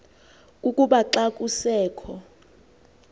kukuba xa kusekho